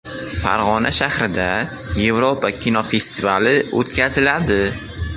Farg‘ona shahrida Yevropa kinosi festivali o‘tkaziladi .